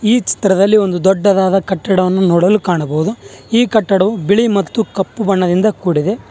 ಈ ಚಿತ್ರದಲ್ಲಿ ಒಂದು ದೊಡ್ಡದಾದ ಕಟ್ಟಡವನ್ನು ನೋಡಲು ಕಾಣಬಹುದು ಈ ಕಟ್ಟಡವು ಬಿಳಿ ಮತ್ತು ಕಪ್ಪು ಬಣ್ಣದಿಂದ ಕೂಡಿದೆ.